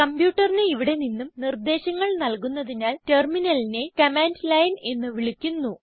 കംപ്യൂട്ടറിന് ഇവിടെ നിന്നും നിർദ്ധേശങ്ങൾ നൽകുന്നതിനാൽ Terminalനെ കമാൻഡ് ലൈൻ എന്ന് വിളിക്കുന്നു